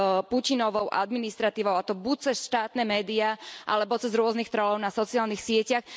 Putinovou administratívou, a to buď cez štátne média alebo cez rôznych trollov na sociálnych sieťach.